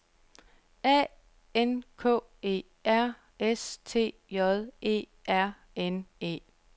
A N K E R S T J E R N E